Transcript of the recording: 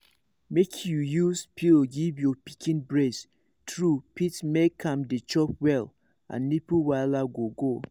make you use pillow give your pikin breast true fit make am dey chop well and nipple wahala go go